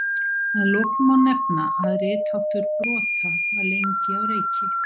Að lokum má nefna að ritháttur brota var lengi á reiki.